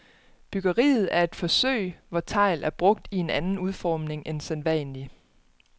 Byggeriet er et forsøg, hvor tegl er brugt i en anden udformning end sædvanlig.